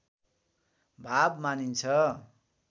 भाव मानिन्छ